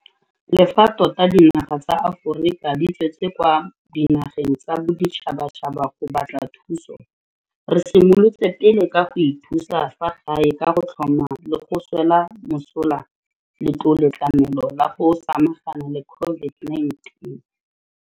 Le fa tota dinaga tsa Aforika di tswetse kwa dinageng tsa boditšhabatšhaba go batla thuso, re simolotse pele ka go ithusa fa gae ka go tlhoma le go swela mosola Letloletlamelo la go Samagana le COVID-19.